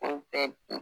O bɛɛ